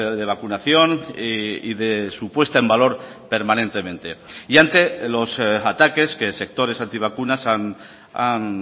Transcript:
de vacunación y de su puesta en valor permanentemente y ante los ataques que sectores antivacunas han